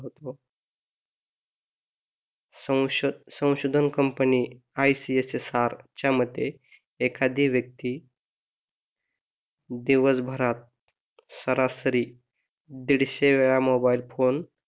संशोधन company ICSSR च्या मते एखादी व्यक्ती दिवसभरात सरासरी दीडशे वेळा मोबाईल फोन